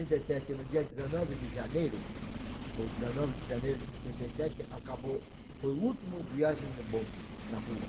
sessenta e sete no dia dezenove de janeiro, o dezenove de janeiro de sessenta e sete, acabou, foi o última viagem do bonde na rua.